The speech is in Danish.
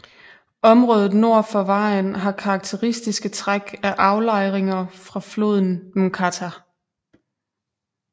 Området nord for vejen har karakteristiske træk af aflejringer fra floden Mkata